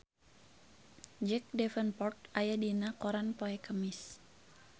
Jack Davenport aya dina koran poe Kemis